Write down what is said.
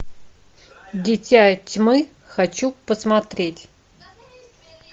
дитя тьмы хочу посмотреть